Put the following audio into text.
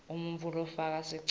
umuntfu lofaka sicelo